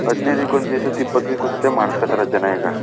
ಹದಿನೈದು ಒಂದ್ಸರ್ತಿ ಇಪ್ಪತು ಒಂಸರ್ತಿಗೆ ಮಾಡ್ಸ್ಕೊಂತರ